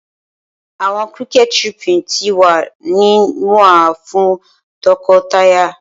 Awọn cricket chirping ti wa ni nwa fun tọkọtaya